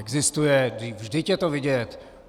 Existuje, vždyť je to vidět.